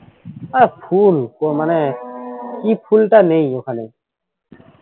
আহ ফুল তো মানে কি ফুলটা নেই ওখানে